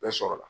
Bɛɛ sɔrɔla